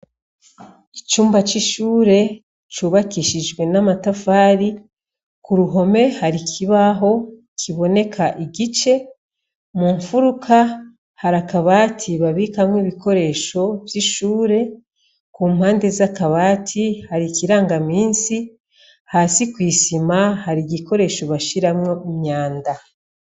Icumba c'ishure cubakishijwe namatafari kuruhome har'ikibaho kiboneka igice mumufuruka hari akabati babikamwo ibikoresho vy'ishure, ku mpande z'akabati hari ikiragamisi hasi kw'isima har'igikoresho bashiramwo imyanda.